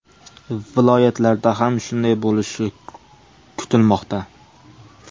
Viloyatlarda ham shunday bo‘lishi kutilmoqda .